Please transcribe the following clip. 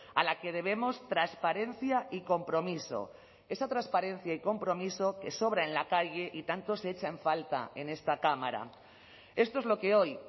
a la que debemos transparencia y compromiso esa transparencia y compromiso que sobra en la calle y tanto se echa en falta en esta cámara esto es lo que hoy